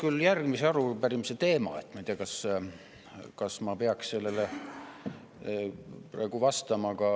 See on järgmise arupärimise teema, ma ei tea, kas ma peaksin sellele praegu vastama.